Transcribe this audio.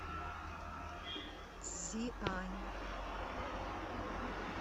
цзиань